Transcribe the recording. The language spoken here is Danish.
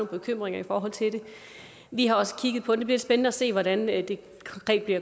bekymringer om vi har også kigget på det det spændende at se hvordan det